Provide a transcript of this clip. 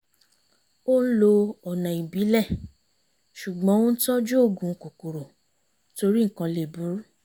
ó ń lo ọ̀nà ìbílẹ̀ ṣùgbọ́n ó ń tọ́jú òògùn kòkòrò torí nǹkan lè burú